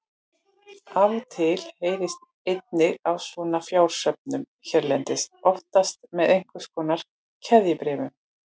Af og til heyrist einnig af svona fjársöfnun hérlendis, oftast með einhvers konar keðjubréfum.